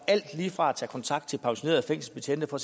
alt lige fra at tage kontakt til pensionerede fængselsbetjente for